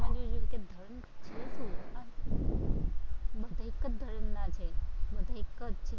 બસ એક જ ધર્મના છે, બધા એક જ